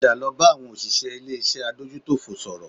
Padà lọ bá àwọn òṣìṣẹ́ ilé-iṣẹ́ adójútòfò sọ̀rọ̀